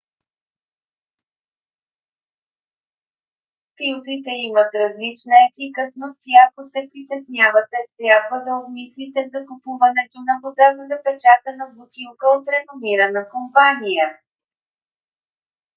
филтрите имат различна ефикасност и ако се притеснявате трябва да обмислите закупуването на вода в запечатана бутилка от реномирана компания